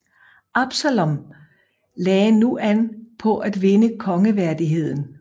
Absalom lagde nu an på at vinde kongeværdigheden